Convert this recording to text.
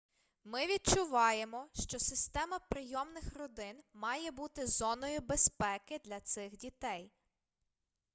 ми відчуваємо що система прийомних родин має бути зоною безпеки для цих дітей